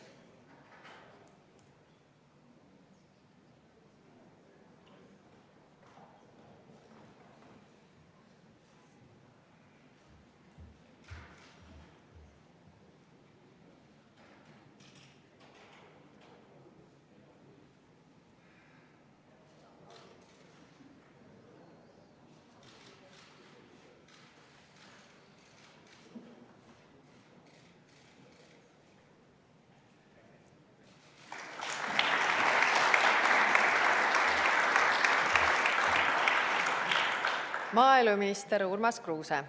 Maaeluminister Urmas Kruuse.